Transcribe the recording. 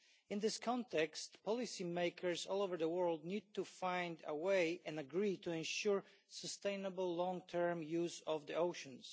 In this context, policymakers all over the world need to find a way to agree to ensure sustainable long term use of the oceans.